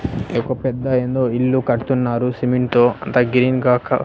ఈ ఒక పెద్ద ఏందో ఇల్లు కడుతున్నారు సిమెంట్ తో అంత గ్రీన్ గాక.